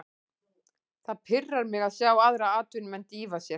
Það pirrar mig að sjá aðra atvinnumenn dýfa sér.